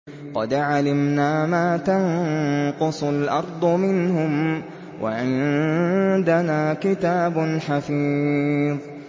قَدْ عَلِمْنَا مَا تَنقُصُ الْأَرْضُ مِنْهُمْ ۖ وَعِندَنَا كِتَابٌ حَفِيظٌ